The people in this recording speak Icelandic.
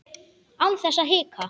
Án þess að hika.